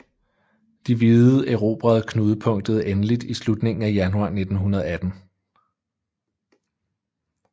De hvide erobrede knudepunktet endeligt i slutningen af januar 1918